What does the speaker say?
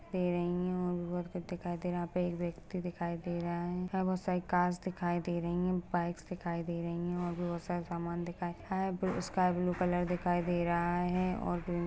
--दे रही है और दिखाई दे रहा यहाँ पे एक व्यक्ति दिखाई दे रहा है यहाँ बहुत सारे कार दिखाई दे रही है बाइक्स दिखाई दे रही है और भी बहुत सारे समान दिखाई आई ब्लू स्काई ब्लू कलर दिखाई दे रहा है और --]